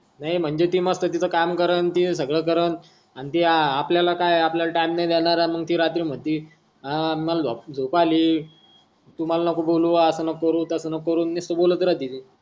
नाही म्हणजे ती मस्त तीच काम करण तीन सागड कारण आण ती आपल्याला काय आपल्याला टाइम नाही देणार आण ती रात्री मन्ते आ मला झोप आल तु मला नको बोलू अस नको करू तस नको करू निस्त बोलत राहते ती.